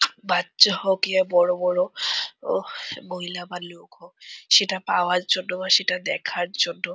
বাচ্চা হোক ইয়া বড় বড় ওহ মহিলা বা লোক হোক সেটা পাওয়ার জন্য বা সেটা দেখার জন্য --